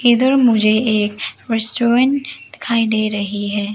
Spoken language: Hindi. इधर मुझे एक रेस्टोरेंट दिखाई दे रही है।